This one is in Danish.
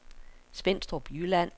Svenstrup Jylland